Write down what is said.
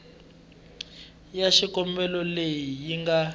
ya xikombelo leyi yi nga